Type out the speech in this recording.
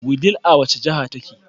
Wudil a wace jahar take?